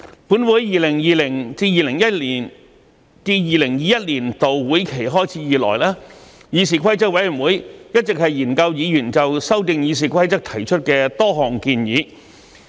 本會在 2020-2021 年度會期開始以來，議事規則委員會一直研究議員就修訂《議事規則》提出的多項建議。